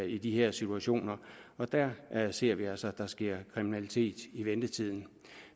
i de her situationer og der ser vi altså at der sker kriminalitet i ventetiden